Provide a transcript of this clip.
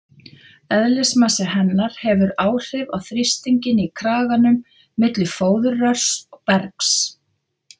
Eðlismassi hennar hefur áhrif á þrýstinginn í kraganum milli fóðurrörs og bergs.